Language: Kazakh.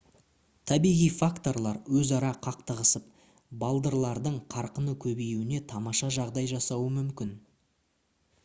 табиғи факторлар өзара қақтығысып балдырлардың қарқынды көбеюіне тамаша жағдай жасауы мүмкін